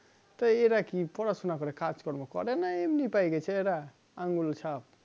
তো এরাকি পড়াশোনা করে কাজকর্ম করেনা এমনি পায়ে গেছে এরা আঙ্গুলচাপ?